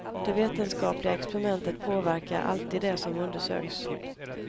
Det vetenskapliga experimentet påverkar alltid det som undersöks.